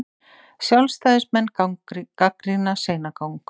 Sjálfstæðismenn gagnrýna seinagang